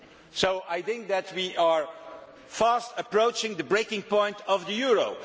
So I think that we are fast approaching the breaking point of the euro.